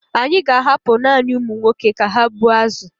Anyị ka ahapụ naanị ụmụ nwoke ka ha gbuo azụ.